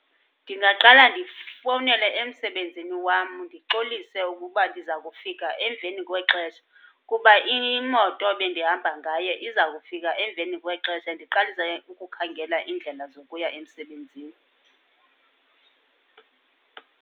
Ndingaqala ndifowunele emsebenzini wam ndixolise ukuba ndiza kufika emveni kwexesha kuba imoto ebendihamba ngayo iza kufika emveni kwexesha, ndiqalise ke ukukhangela iindlela zokuya emsebenzini.